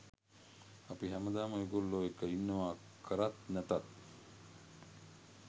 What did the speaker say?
අපි හැමදාම ඔයගොල්ලෝ එක්ක ඉන්නවා කරත් නැතත්.